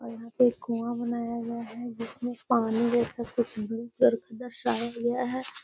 और यहाँ पे एक कुवा बनाया गया है। जिसमे पानी देख सकते है। --